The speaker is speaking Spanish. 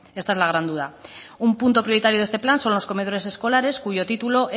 esta es la gran duda un punto prioritario de este plan son los comedores escolares cuyo título